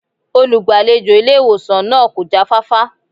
Olùgbàlejò ilé ìwòsàn náà kò jáfáfá